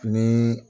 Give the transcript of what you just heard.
Ni